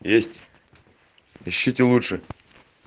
есть ищите лучше